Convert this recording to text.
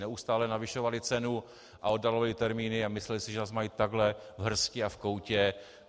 Neustále navyšovali cenu a oddalovali termíny a mysleli si, že nás mají takhle v hrsti a v koutě.